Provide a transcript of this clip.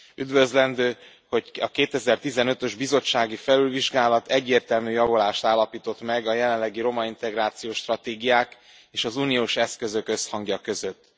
Üdvözlendő, hogy a 2015 ös bizottsági felülvizsgálat egyértelmű javulást állapított meg a jelenlegi romaintegrációs stratégiák és az uniós eszközök összhangja között.